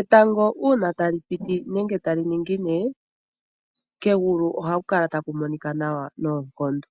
Etango una tali piti nenge tali ningine kegulu ohaku kala taku monika nawa noonkondo.